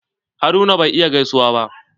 Haruna bai iya gaisuwa ba.